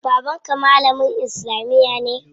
Baban ka malamin islamiya ne?